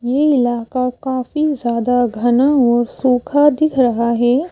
ये इलाका काफी ज्यादा घना और सुखा दिख रहा है।